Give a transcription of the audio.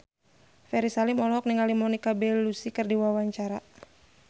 Ferry Salim olohok ningali Monica Belluci keur diwawancara